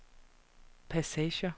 passager